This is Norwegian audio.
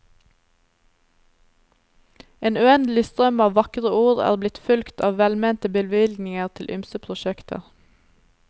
En uendelig strøm av vakre ord er blitt fulgt av velmente bevilgninger til ymse prosjekter.